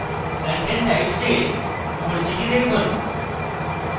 content types এর পরিচিতি দেখুন